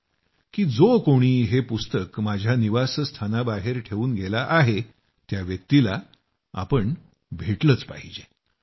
आणि जो कोणी हे पुस्तक माझ्या निवासस्थानाबाहेर ठेवून गेला आहे त्या व्यक्तीला आपण भेटलंच पाहिजे असंही माझ्या मनाला वाटायला लागलं